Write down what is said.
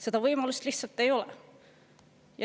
Seda võimalust lihtsalt ei ole.